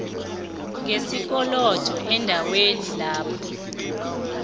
ngesikolodo eendaweni lapho